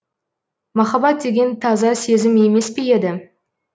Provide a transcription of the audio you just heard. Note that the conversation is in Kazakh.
махаббат деген таза сезім емес пе еді